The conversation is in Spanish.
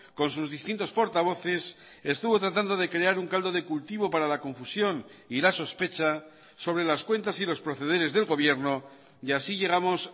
con sus distintos portavoces estuvo tratando de crear un caldo de cultivo para la confusión y la sospecha sobre las cuentas y los procederes del gobierno y así llegamos